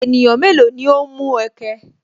Ènìyàn mélòó ni o ń mú ẹ̀kẹ̀?